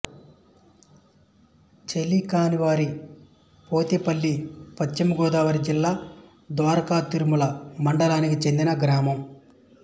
చెలికానివారి పోతేపల్లి పశ్చిమ గోదావరి జిల్లా ద్వారకా తిరుమల మండలానికి చెందిన గ్రామం